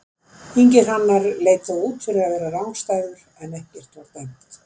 Ingi Hrannar leit þó út fyrir að vera rangstæður en ekkert var dæmt.